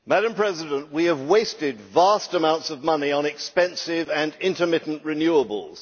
Madam President, we have wasted vast amounts of money on expensive and intermittent renewables.